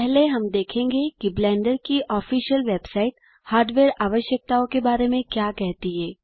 पहले हम देखेंगे कि ब्लेंडर की ऑफिसियल वेबसाइट हार्डवेयर आवश्यकताओँ के बारे में क्या कहती है